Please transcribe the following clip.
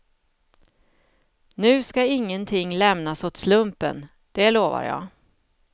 Nu ska ingenting lämnas åt slumpen, det lovar jag.